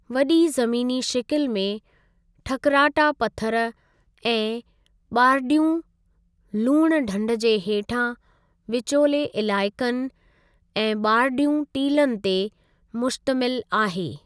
वॾी ज़मीनी शिकिल में ठकराठा पथरु ऐं ॿारडीयूं लूणु ढंढ जे हेठां, विचोले इलाइक़नि ऐं ॿारडीयूं टीलन ते मुश्तमिल आहे।